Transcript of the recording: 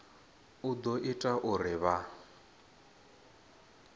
u ḓo ita uri vha